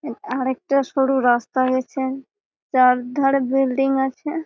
এ আর একটা সরু রাস্তা গেছে চার ধারে বিল্ডিং আছেএ।